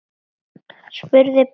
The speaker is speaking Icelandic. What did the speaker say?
spurði Baddi.